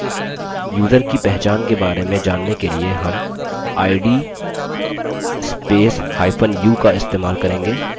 user की पहचान के बारे में जानने के लिए हम id spacehyphen u का इस्तेमाल करेंगे